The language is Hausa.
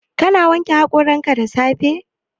Ka na wanke haƙoranka da safe?